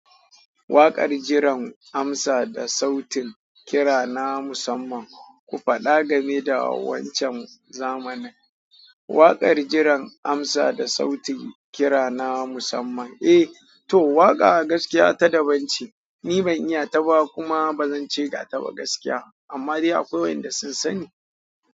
Waƙar jiran amsa da sautin kira na musamman, ku faɗa game da wancan zamanin. Waƙar jiran amsa da sautin kira na musamman? Eh to, waƙa a gaskiya ta daban ce, ni ban iya ta ba kuma ba zan ce ga ta ba gaskiya, amma dai akwai wayanda sun sani.